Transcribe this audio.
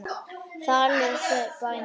Þar læra þau bænir.